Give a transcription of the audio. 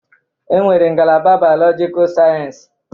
E nwere ngalaba Bailọgikal Sayensi.